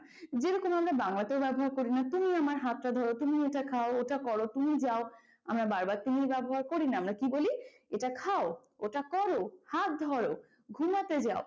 যেরকম আমরা বাংলাতেও ব্যবহার করিনা তুমি আমার হাতটা ধরো, তুমি এটা খাও, ওটা করো, তুমি যাও, আমরা বারবার তুমি ব্যবহার করিনা, আমরা কি বলি এটা খাও, ওটা করো, হাত ধরো, ঘুমাতে যাও।